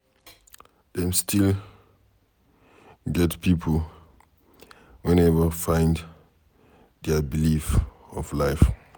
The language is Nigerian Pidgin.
Dem still get pipo wey neva find dia belief of life